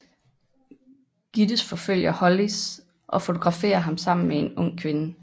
Gittes forfølger Hollis og fotograferer ham sammen med en ung kvinde